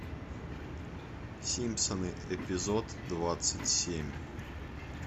симпсоны эпизод двадцать семь